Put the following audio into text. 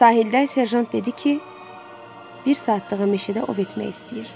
Sahildə Serjant dedi ki, bir saatlığı meşədə ov etmək istəyir.